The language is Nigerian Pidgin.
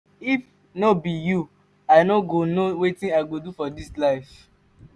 if no be you i no know wetin i go do for dis life.